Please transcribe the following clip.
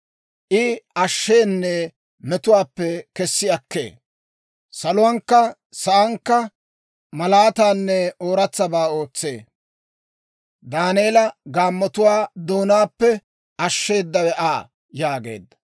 I ashsheenne, metuwaappe kessi akkee. Saluwankka saankka, malaataanne ooratsabaa ootsee. Daaneela gaammotuwaa doonaappe, ashsheeddawe Aa!» yaageedda.